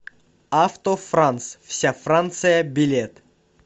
авто франц вся франция билет